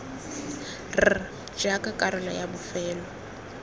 r jaaka karolo ya bofelo